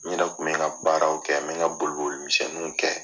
N yɛrɛ kun bɛ n ka baaraw kɛ n bɛ n ka boli boli misɛnniw kɛ.